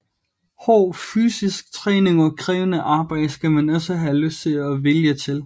Hård fysisk træning og krævende arbejde skal man også have lyst og vilje til